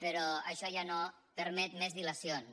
però això ja no permet més dilacions